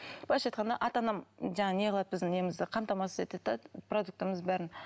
былайша айтқанда ата анам жаңағы не қылады біздің немізді қамтамасыз етеді де продуктымыз бәрін